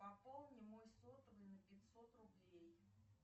пополни мой сотовый на пятьсот рублей